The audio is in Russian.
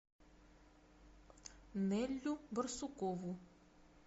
неллю барсукову